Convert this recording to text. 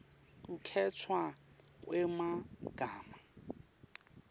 kukhetfwa kwemagama